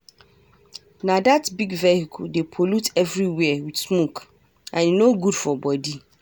Na dat big vehicle dey pollute everywhere with smoke and e no good for body.